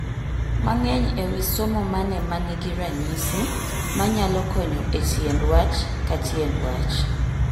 Mang'eny e wi somo mane manigi ranyisi manyalo konyo e tiend wach ka tiend wach